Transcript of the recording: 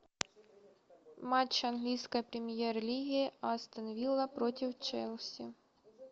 матч английской премьер лиги астон вилла против челси